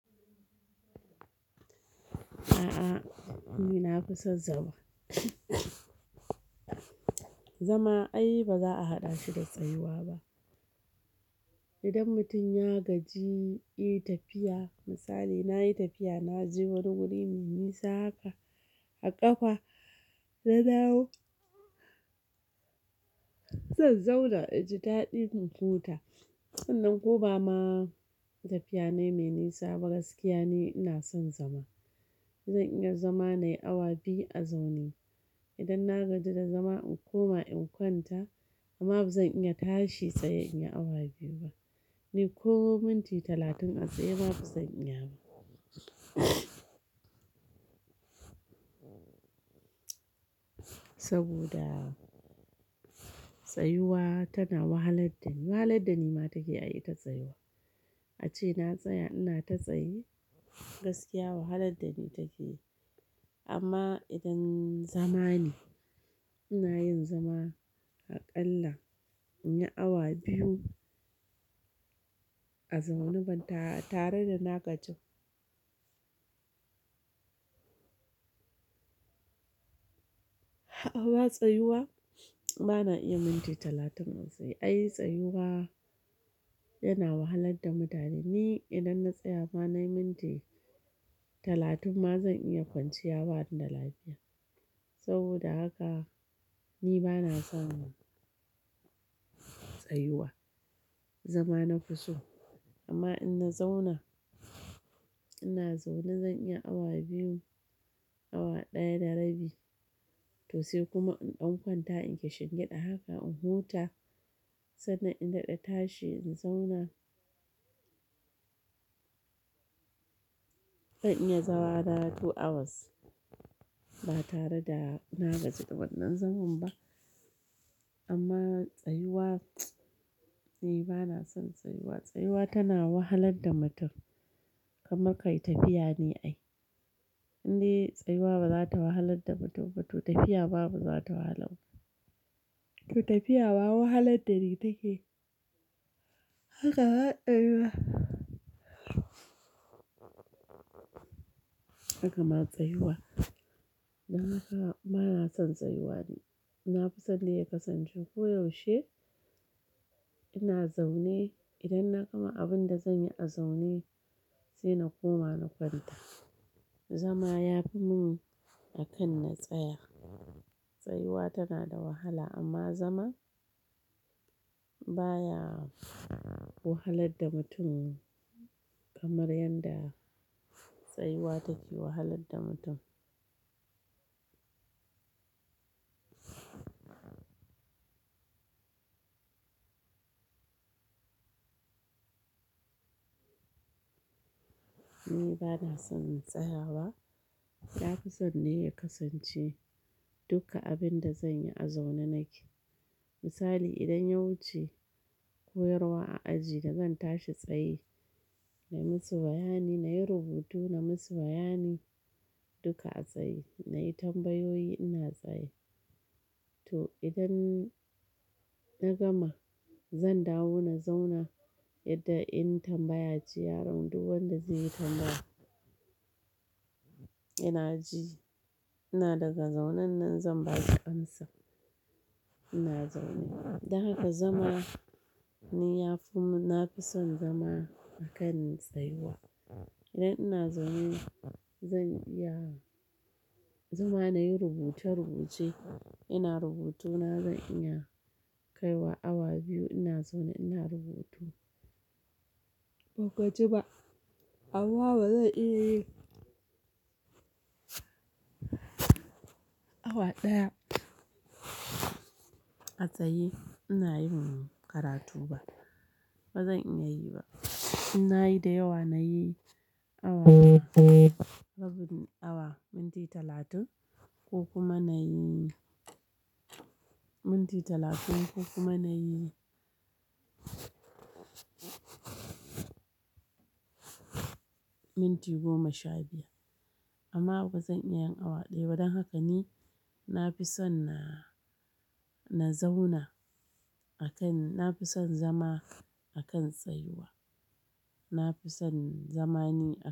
A'a ni na fi son zama. Zama ai ba za a haɗa shi da tsayuwa ba. Idan mutum ya gaji yi tafiya, misali na yi tafiya na je wani wuri mai nisa haka a ƙafa, na dawo, zan zauna a ji daɗi in huta. Sannan ko ba ma tafiya ne mai nisa ba, gaskiya ni ina son zama. Zan iya zama na yi awa biyu a zaune. Idan na gaji da zama in koma in kwanta amma ba zan iya tashi tsaye in yi awa biyu ba. Ni ko minti talatin a tsaye ba zan iya ba. Saboda tsayuwa tana wahalar da ni. Wahalar da ni ma take ai ita tsayuwa. Ace na tsaya ina ta tsaye gaskiya wahalar da ni take yi. Amma idan zama ne, ina yin zama aƙalla in yi awa biyu a zaune ba tare da na gaji ba. A'a ba tsayuwa ba na iya minti talatin a tsaye. Ai tsayuwa yana wahalar da mutane. Ni idan na tsaya ba na yi minti talatin ma zan iya kwanciya bani da lafiya. Saboda haka ni ba na son tsayuwa. Zama na fi so. Amma in na zauna, ina zaune zan iya awa biyu, awa ɗaya da rabi to sai kuma in ɗan kwanta in kashingiɗa haka in huta sannan in daɗa tashi in zauna. Zan iya zama na yi two hours ba tare da na gaji ba wannan zaman ba. Amma tsayuwa ni ba na son tsayuwa. Tsayuwa tana wahalar da mutum kamar ka yi tafiya ne ai. Inde tsayuwa ba za ta wahalar da mutum ba to tafiya babu za ta wahala mu. To tafiya ma wahalar da ni take haka ma tsayuwa. Haka ma tsayuwa. Dan haka ba na son tsayuwa ni. Na fi son ne ya kasance ko yaushe ina zaune idan na gama abin da zan yi a zaune sai na koma na kwanta. Zama ya fi mun akan na tsaya. Tsayuwa tana da wahala amma zama baya wahalar da mutum kamar yadda tsayuwa take wahalar da mutum. Ni ba na son na tsaya ba. Na fi son ne ya kasance duka abin da zan yi a zaune nake. Misali idan ya wuce koyarwa a aji da zan tashi tsaye na yi musu bayani, na yi rubutu na musu bayani duka a tsaye, na yi tambayoyi ina tsaye. To idan na gama zan dawo na zauna yadda in tambaya ce yaron duk wanda zai yi tambaya ina ji. Ina daga zaune nan zan baki amsa ina zaune. Dan haka zama ni ya fi mun, na fi son zama akan tsayuwa. Idan ina zaune zan iya zama na yi rubuce-rubuce, ina rubutu na zan iya kaiwa awa biyu ina zaune ina rubutu. Ban gaji ba. Amma ba zan iya yi awa ɗaya a tsaye ina yin karatu ba. Ba zan iya yi ba. Ina yi da yawa na yi awa rabin awa, minti talatin ko kuma na yi minti talatin ko kuma na yi minti goma sha biyar. Amma ba zan iya yin awa ɗaya ba. Don haka ni na fi son na, na zauna akan, na fi son zama akan tsayuwa. Na fi son zama ni a.